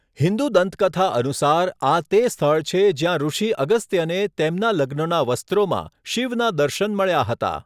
હિન્દુ દંતકથા અનુસાર, આ તે સ્થળ છે જ્યાં ઋષિ અગસ્ત્યને તેમના લગ્નના વસ્ત્રોમાં શિવના દર્શન મળ્યા હતા.